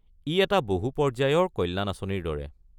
ই এটা বহু পৰ্য্যায়ৰ কল্যাণ আঁচনিৰ দৰে।